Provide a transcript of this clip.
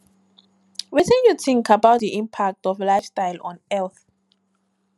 wetin you think about di impact of lifestyle on health